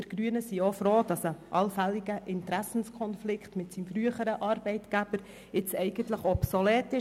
Wir Grünen sind froh, dass ein allfälliger Interessenkonflikt mit seinem früheren Arbeitgeber nun obsolet ist.